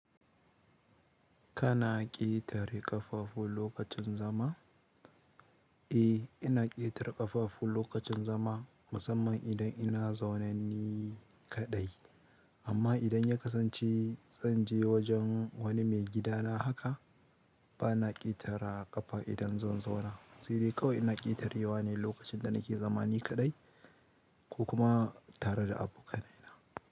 Kana ƙetare ƙafafu lokacin zama? Eh, ina ƙetare ƙafafu lokacin zama, musamman idan ina zaune ni kaɗai. Amma idan ya kasance zan je wajen wani mai gidana haka, ba na ƙetare ƙafa idan zan zauna. Si dai ƙawai ina ƙetare wa ne lokacin da nake zama ni kaɗai ko kuma tare da abokanai na.